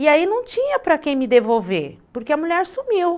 E aí não tinha para quem me devolver, porque a mulher sumiu.